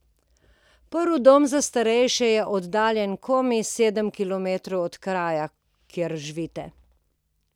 Prvi dom za starejše je oddaljen komaj sedem kilometrov od kraja, kjer živite!